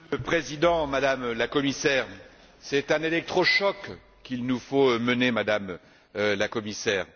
Monsieur le Président, Madame la Commissaire, c'est un électrochoc qu'il nous faut mener, Madame la Commissaire.